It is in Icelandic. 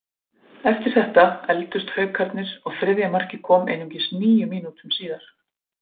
Eftir þetta efldust Haukarnir og þriðja markið kom einungis níu mínútum síðar.